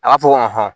A b'a fɔ ko